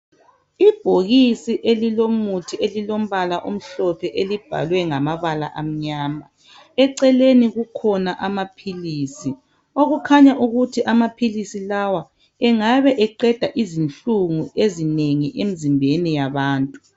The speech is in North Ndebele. Ibhokisi elilomuthi elilombala omhlophe elibhalwe ngamabala amnyama eceleni kukhona amaphilisi okukhanya ukuthi amapilhilisi lawa engabe eqeda izinhlungu ezinengi emzimbeni yabantu